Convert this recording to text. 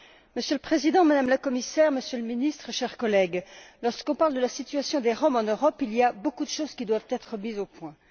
Monsieur le Président, Madame la Commissaire, Monsieur le Ministre, chers collègues, lorsqu'on parle de la situation des Roms en Europe, il y a beaucoup de choses qui doivent être mises au point.